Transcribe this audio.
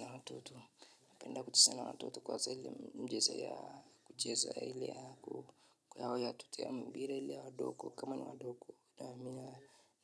Na watoto napenda kucheza na watoto kwa zile mchezo ya kucheza ile ya watoto ya mpira ile ya wadogo, kama ni wadogo.